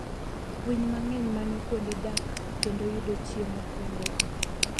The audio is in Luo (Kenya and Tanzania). Winy mang'eny manyo kuonde dak kendo yudo chiemo kuondego.